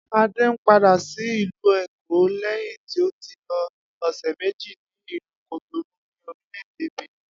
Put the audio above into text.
Adé ń padà sí ìlú Èkó lé̩yìn tí ó ti lo ò̩sè̩ méjì ní ìlú Cotonou ní orílè̩-èdè Benin